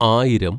ആയിരം